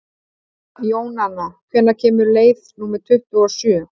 Jónanna, hvenær kemur leið númer tuttugu og sjö?